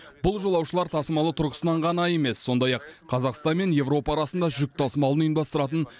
бұл жолаушылар тасымалы тұрғысынан ғана емес сондай ақ қазақстан мен еуропа арасында жүк тасымалын ұйымдастыратын